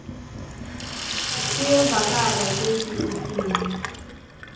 kuyevakala kutsi utsini